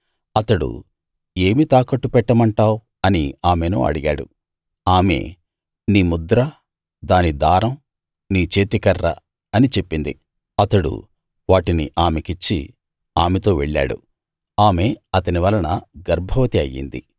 అతడు ఏమి తాకట్టు పెట్టమంటావ్ అని ఆమెను అడిగాడు ఆమె నీ ముద్ర దాని దారం నీ చేతికర్ర అని చెప్పింది అతడు వాటిని ఆమెకిచ్చి ఆమెతో వెళ్ళాడు ఆమె అతని వలన గర్భవతి అయ్యింది